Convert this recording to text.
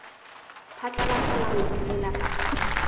phatlalatsa la ho phomola kapa